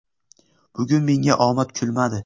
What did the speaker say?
Bugun menga omad kulmadi.